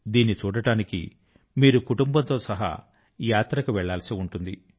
దీన్ని చూడడానికి మీరు కుటుంబం తో సహా యాత్ర కు వెళ్ళాల్సి ఉంటుంది